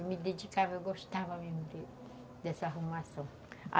Eu me dedicava, eu gostava mesmo de, dessa arrumação.